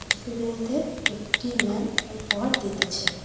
Student -দের একটি ma'am উপহার দিতেছে।